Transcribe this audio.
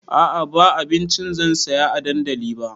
A'a ba abinci zan saya a dandali ba